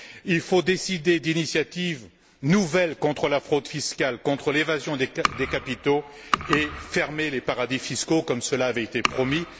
Il faut décider d'initiatives nouvelles contre la fraude fiscale, contre l'évasion des capitaux, et fermer les paradis fiscaux, comme cela avait été promis.